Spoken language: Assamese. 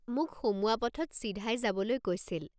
মোক সোমোৱা পথত চিধাই যাবলৈ কৈছিল।